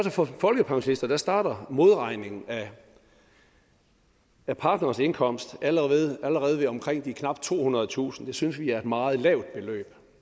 for folkepensionister starter modregningen af partnerens indkomst allerede allerede omkring de tohundredetusind kroner det synes vi er et meget lavt beløb